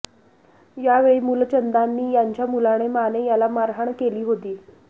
यावेळी मूलचंदानी यांच्या मुलाने माने याला मारहाण केली होती